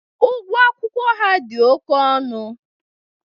Ugwọ akwụkwọ ha dị oke ọnụ.